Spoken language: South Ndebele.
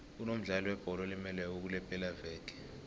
kunomdlali webholo olimeleko kulepelaveke